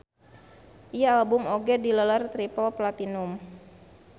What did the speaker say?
Ieu album oge dileler triple platinum.